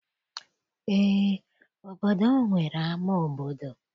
Eé, obodo m nwere ama obodo.